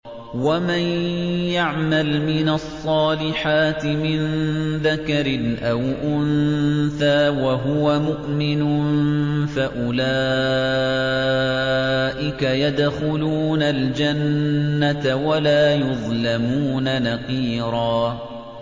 وَمَن يَعْمَلْ مِنَ الصَّالِحَاتِ مِن ذَكَرٍ أَوْ أُنثَىٰ وَهُوَ مُؤْمِنٌ فَأُولَٰئِكَ يَدْخُلُونَ الْجَنَّةَ وَلَا يُظْلَمُونَ نَقِيرًا